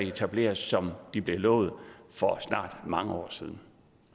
etableret som det blev lovet for snart mange år siden